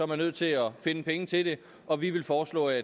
man nødt til at finde penge til det og vi vil foreslå at